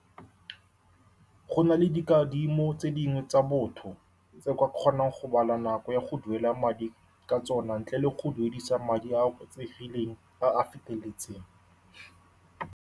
Go na le dikadimo tse dingwe tsa botho, tse o ka kgonang go bala nako ya go duela madi ka tsona, ntle le go duedisiwa madi a a oketsegileng a a feteletseng.